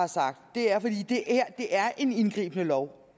det her er en indgribende lov